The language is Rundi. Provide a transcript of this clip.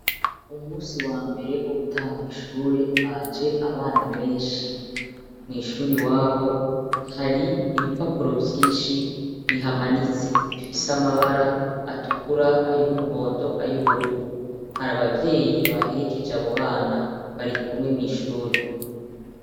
Umusi wa mbere wo gutangura ishure haje abana benshi. Mw'ishure iwabo hari ibipapuro vyinshi bihamanitse, bifise amabara atukura, ay'umuhondo, ay'ubururu. Hari abavyeyi baherekeje abo bana, bari mw'ishure.